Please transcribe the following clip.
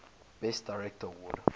best director award